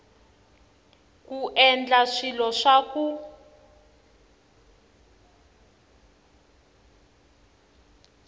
ku endla swilo swa ku